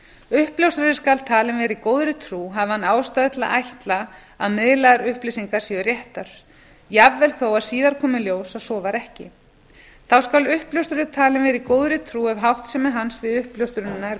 uppljóstrari skal talinn vera í góðri trú hafi hann ástæðu til að ætla að miðlaðar upplýsingar séu réttar jafnvel þó að síðar komi í ljós að svo var ekki þá skal uppljóstrari talinn vera í góðri trú ef háttsemi hans við uppljóstrunina er